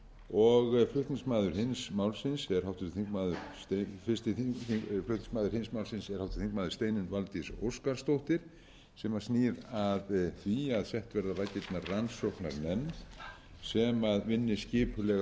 og fyrsti flutningsmaður hins málsins er háttvirtur þingmaður steinunn valdís óskarsdóttir sem snýr að því að sett verði á laggirnar rannsóknarnefnd sem vinni skipulega